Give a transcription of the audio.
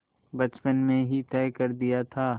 बचपन में ही तय कर दिया था